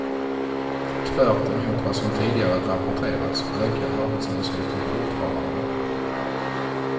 Tvärt emot vad som tidigare rapporterats ökar arbetslösheten fortfarande.